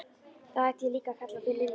Þá hætti ég líka að kalla þig Lilla.